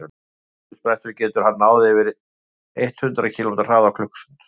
á stuttum sprettum getur hann náð yfir eitt hundruð kílómetri hraða á klukkustund